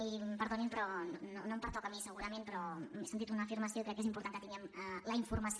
i perdonin no em pertoca a mi segurament però he sentit una afirmació i crec que és important que tinguem la informació